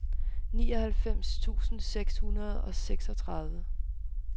nioghalvfems tusind seks hundrede og seksogtredive